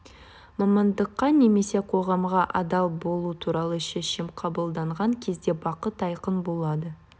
мамандыққа немесе қоғамға адал болу туралы шешім қабылданған кезде бағыт айқын болады